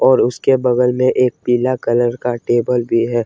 और उसके बगल में एक पीला कलर का टेबल भी है।